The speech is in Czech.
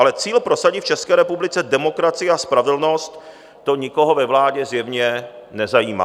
Ale cíl prosadit v České republice demokracii a spravedlnost, to nikoho ve vládě zjevně nezajímá.